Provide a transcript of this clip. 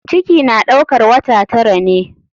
Ciki na ɗaukar wata tara ne.